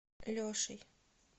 лешей